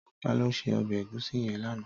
Tàló sé òbè égúsì yèn làná?